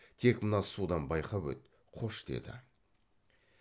тек мына судан байқап өт қош деді